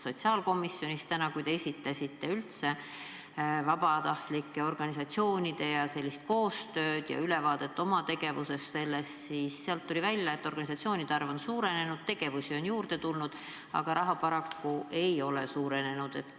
Täna sotsiaalkomisjonis, kui te esitasite ülevaate vabatahtlikest organisatsioonidest, nende koostööst ja oma tegevusest sellega seoses, tuli välja, et organisatsioonide arv on suurenenud, tegevusi on juurde tulnud, aga raha hulk on paraku samaks jäänud.